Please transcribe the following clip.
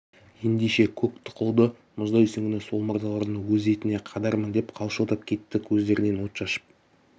ендеше көк тұқылды мұздай сүңгіні сол мырзалардың өз етіне қадармын деп қалшылдап кетті көздерінен от шашып